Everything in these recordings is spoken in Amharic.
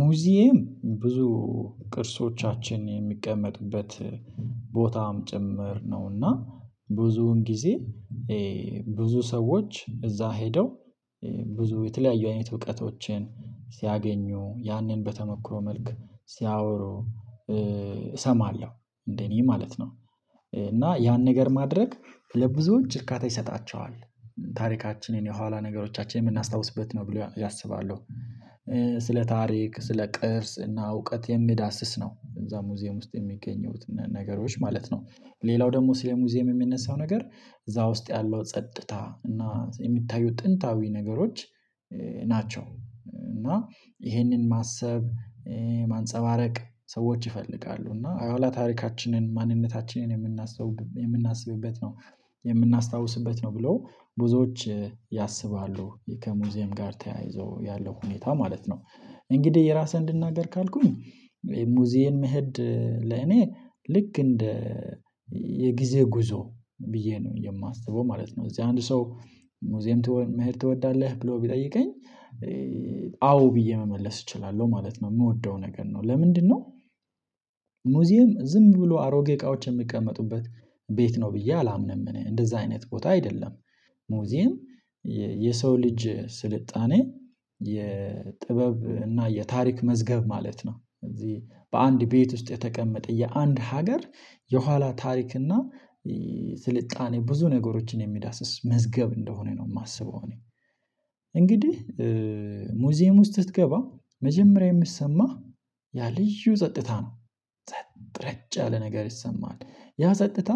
ሙዚየም ብዙ ቅርሶቻችን የሚቀመጡበት ቦታም ጭምር ነው። እና ብዙን ጊዜ ብዙ ሰዎች እዛ ሄደው ብዙ የተለያዩ አይነት እውቀቶችን ሲያገኙ ያንን በተሞክሮ መልክ ሲያወሩ እሰማለሁ እንደ እኔ ማለት ነው። እና ያን ነገር ማድረግ ለብዙዎች እርካታ ይሰጣቸዋል ታሪካችን የኋላ ነገሮቻችን የምናስታውስበት ነው ብለው ያስባሉ። ስለ ታሪክ ስለ ቅርስ እና እውቀት የሚዳስስ ነው እዛ ሙዚየም ውስጥ የሚገኘው ነገሮች ማለት ነው። ሌላው ደግሞ ስለ ሙዚየም የሚነሳው ነገር እዛ ውስጥ ያለው ጸጥታ እና የሚታዩት ጥንታዊ ነገሮች ናቸው። እና ይሄንን ማሰብ ማንፀባረቅ ሰዎች ይፈልጋሉ እና የኋላ ታሪካችንን ማንነታችንን የምናስበው የምናስብበት ነው። የምናስታውስበት ነው ብለው ብዙዎች ያስባሉ ከሙዚየም ጋር ተያይዞ ያለው ሁኔታ ማለት ነው። እንግዲህ የራስህን እንድናገር ካልኩኝ የሙዚየም መሄድ ለኔ ልክ እንደ የጊዜ ጉዞ ብዬ ነው የማስበው ማለት ነው። እዚህ አንድ ሰው ሙዚየም መሄድ ትወዳለህ ብሎ ቢጠይቀኝ አዎ ብዬ መመለስ እችላለሁ ማለት ነው። የምወደው ነገር ነው ለምንድነው? ሙዚየም ዝም ብሎ አሮጌ እቃዎች የሚቀመጡበት ቤት ነው ብዬ አላምንም እኔ እንደዛ አይነት ቦታ አይደለም። ሙዚየም የሰው ልጅ ስልጣኔ የጥበብ እና የታሪክ መዝገብ ማለት ነው። እዚህ በአንድ ቤት ውስጥ የተቀመጠ የአንድ ሀገር የኋላ ታሪክ እና ስልጣኔ ብዙ ነገሮችን የሚዳስስ መዝገብ እንደሆነ ነው። የማስበው እኔ እንግዲህ ሙዚየም ውስጥ ስትገባ መጀመሪያ የሚሰማህ ያ ልዩ ጸጥታ ነው። ጸጥ ረጭ ያለ ነገር ይሰማል ያ ጸጥታ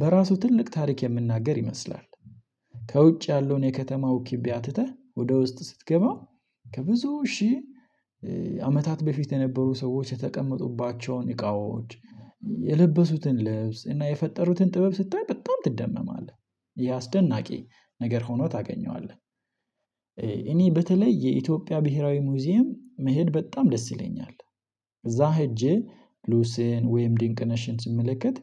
በራሱ ትልቅ ታሪክ የሚናገር ይመስላል። ከውጭ ያለውን የከተማው ኪቢያ ትተህ ወደ ውስጥ ስትገባ ከብዙ ሺህ አመታት በፊት የነበሩ ሰዎች የተቀመጡባቸውን እቃዎች የለበሱትን ልብስ እና የፈጠሩትን ጥበብ ስታይ በጣም ትደመማለህ ይሄ አስደናቂ ነገር ሆኖ ታገኘዋለህ። እኔ በተለይ የኢትዮጵያ ብሄራዊ ሙዚየም መሄድ በጣም ደስ ይለኛል። እዛ ሄጄ ሉሲን ወይም ድንቅ ነሽን ስመለከት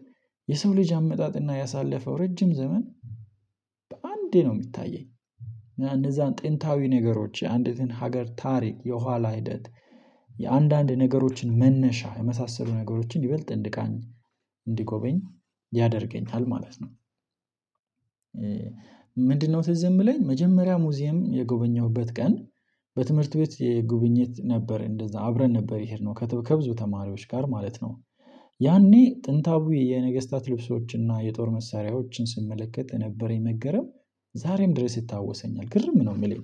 የሰው ልጅ አመጣጥና ያሳለፈው ረጅም ዘመን በአንዴ ነው የሚታየኝ እና እንደዛን ጥንታዊ ነገሮች የአንዲትን ሀገር ታሪክ የኋላ ሂደት የአንዳንድ ነገሮችን መነሻ የመሳሰሉ ነገሮችን ይበልጥ እንድቃኝ እንድጎበኝ ያደርገኛል ማለት ነው። ምንድነው? ትዝ የሚለኝ መጀመሪያ ሙዚየም የጎበኘሁበት ቀን በትምህርት ቤት የጉብኝት ነበር እንደዛ አብረን ነበር የሄድነው ከብዙ ተማሪዎች ጋር ማለት ነው። ያኔ ጥንታዊ የነገስታት ልብሶችን እና የጦር መሳሪያዎችን ስመለከት የነበረኝ መገረም ዛሬም ድረስ ይታወሰኛል። ግርም ነው የሚለኝ።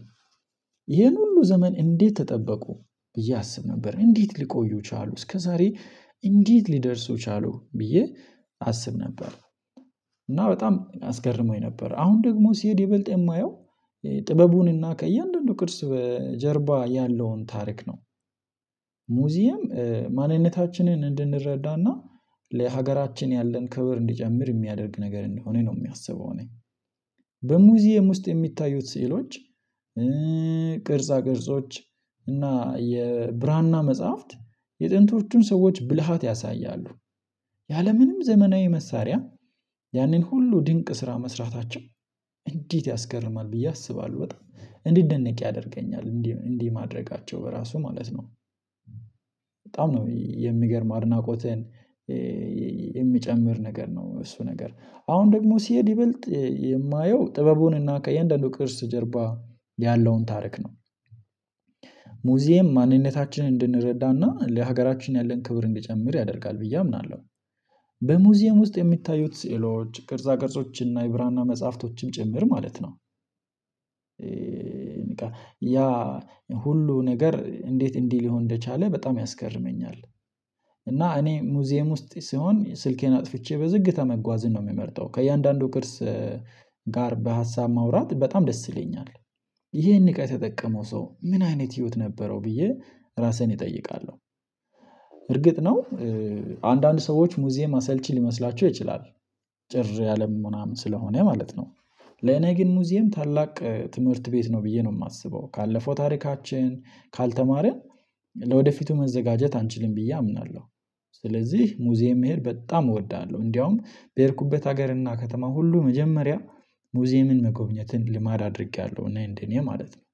ይሄን ሁሉ ዘመን እንዴት ተጠበቁ ብዬ አስብ ነበር እንዴት ሊቆዩ ቻሉ እስከዛሬ እንዴት ሊደርሱ ቻሉ ብዬ አስብ ነበር። እና በጣም አስገርሞኝ ነበር አሁን ደግሞ ሲሄድ ይበልጥ የማየው ጥበቡንና ከእያንዳንዱ ቅርስ ጀርባ ያለውን ታሪክ ነው። ሙዚየም ማንነታችንን እንድንረዳና ለሀገራችን ያለን ክብር እንዲጨምር የሚያደርግ ነገር እንደሆነ ነው የማስበው እኔ። በሙዚየም ውስጥ የሚታዩት ስዕሎች ቅርጻ ቅርጾች እና የብራና መጽሐፍት የጥንቶቹን ሰዎች ብልሃት ያሳያሉ። ያለምንም ዘመናዊ መሳሪያ ያንን ሁሉ ድንቅ ስራ መስራታቸው እንዴት ያስገርማል ብዬ አስባለሁ በጣም እንዲደነቅ ያደርገኛል እንዲህ እንዲህ ማድረጋቸው በራሱ ማለት ነው። በጣም ነው የሚገርም አድናቆትን የሚጨምር ነገር ነው። እሱ ነገር አሁን ደግሞ ሲሄድ ይበልጥ የማየው ጥበቡንና ከየአንዳንዱ ቅርስ ጀርባ ያለውን ታሪክ ነው። ሙዚየም ማንነታችንን እንድንረዳና ለሀገራችን ያለን ክብር እንድጨምር ያደርጋል ብዬ አምናለሁ። በሙዚየም ውስጥ የሚታዩት ስዕሎች ቅርጻ ቅርጾችና የብራና መጽሐፍቶችም ጭምር ማለት ነው። ያ ሁሉ ነገር እንዴት እንዲህ ሊሆን እንደቻለ በጣም ያስገርመኛል። እና እኔ ሙዚየም ውስጥ ሲሆን ስልኬን አጥፍቼ በዝግታ መጓዝን ነው የምመርጠው ከእያንዳንዱ ቅርስ ጋር በሀሳብ ማውራት በጣም ደስ ይለኛል። ይሄን እቃ የተጠቀመው ሰው ምን አይነት ህይወት ነበረው ብዬ ራሴን እጠይቃለሁ። እርግጥ ነው። አንዳንድ ሰዎች ሙዚየማ አሰልቺ ሊመስላቸው ይችላል። ጭር ያለም ምናምን ስለሆነ ማለት ነው። ለኔ ግን ሙዚየም ታላቅ ትምህርት ቤት ነው ብዬ ነው የማስበው። ካለፈው ታሪካችን ካልተማረን ለወደፊቱ መዘጋጀት አንችልም ብዬ አምናለሁ። ስለዚህ ሙዚየም መሄድ በጣም እወዳለሁ እንዲያውም በሄድኩበት ሀገር እና ከተማ ሁሉ መጀመሪያ ሙዚየምን መጎብኘትን ልማድ አድርጌያለሁ እና እንደ እኔ ማለት ነው።